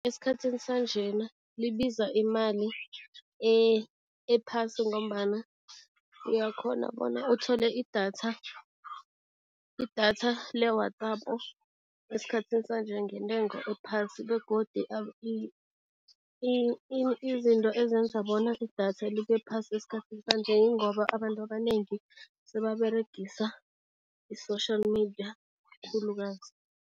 Esikhathini sanjena libiza imali ephasi ngombana uyakghona bona uthole idatha, idatha le-WhatsApp esikhathini sanje ngentengo ephasi begodi izinto ezenza bona idatha libe phasi esikhathi sanje ingoba abantu abanengi sebaberegisa i-social media khulukazi.